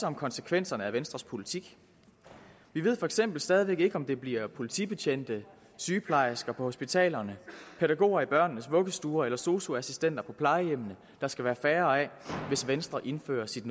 om konsekvenserne af venstres politik vi ved for eksempel stadig væk ikke om det bliver politibetjente sygeplejersker på hospitalerne pædagoger i børnenes vuggestuer eller sosu assistenter på plejehjemmene der skal være færre af hvis venstre indfører sit